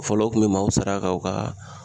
Fɔlɔ o kun be maaw sara ka u ka